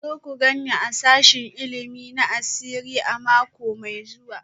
Ku zo ku gan ni a sashen ilimi na asiri a mako mai zuwa